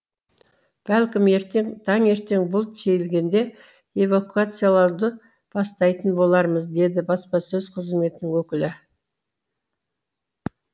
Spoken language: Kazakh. бәлкім ертең таңертең бұлт сейілгенде эвакуациялауды бастайтын болармыз деді баспасөз қызметінің өкілі